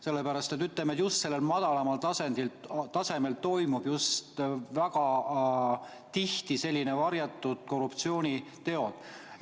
Sellepärast, et just madalamal tasemel toimuvad väga tihti sellised varjatud korruptsiooniteod.